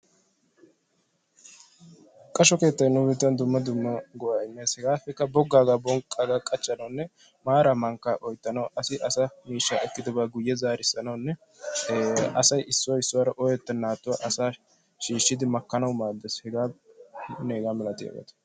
Qasho keettay nu biittan dumma dumma go'a immees. hegaappe boggaga bonqqaga qachchanawune maara mankka oyttanawu asi asa miishshaa ekkidoba guye zaarisanawune eee asay issoy issuwara oyetenatuwa asa shishidi makkanawu maadess. hegaanne hehaa malatiyabata.